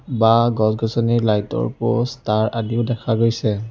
বাঁহ গছ-গছনি লাইট ৰ প'ষ্ট তাঁৰ আদিও দেখা পোৱা গৈছে।